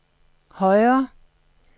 højere